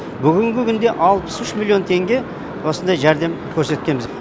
бүгінгі күнде алпыс үш миллион теңге осындай жәрдем көрсеткенбіз